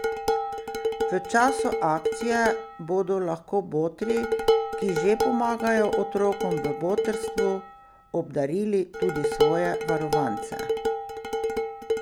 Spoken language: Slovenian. V času akcije bodo lahko botri, ki že pomagajo otrokom v Botrstvu, obdarili tudi svoje varovance.